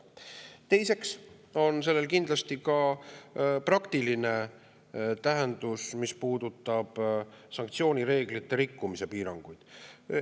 Teiseks on sellel kindlasti ka praktiline tähendus, mis puudutab sanktsioonireeglite rikkumise piiranguid.